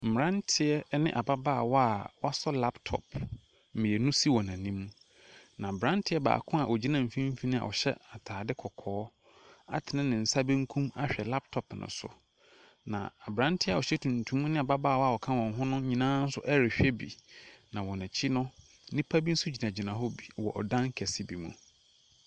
Mmeranteɛ ne ababaawa a wasɔ laptop mmienu si wɔn anim, na aberanteɛ baako a ɔgyina mfimfini a ɔhyɛ atade kɔkɔɔ atene ne nsa benkum ahwɛ laptop no so, na aberanteɛ a ɔhyɛ tuntum ne ababaawa a ɔka wɔn ho no nyinaa nso rehwɛ bi, na wɔn akyi no, nnipa bi nso gyinagyina hɔ bi wɔ ɔdan kɛse bi mu.